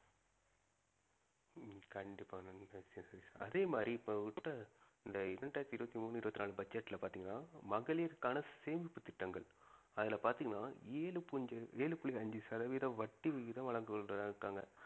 கண்டிப்பா சதீஷ் அதே மாதிரி இப்ப இந்த இரண்டாயிரத்தி இருவத்தி மூணு இருவத்தி நாலு budget ல பாத்தீங்கன்னா மகளிருக்கான சேமிப்பு திட்டங்கள் அதுல பாத்தீங்கன்னா ஏழு புஞ்ச ஏழு புள்ளி அஞ்சி சதவீதம் வட்டி விகிதம் வழங்கியிருக்காங்க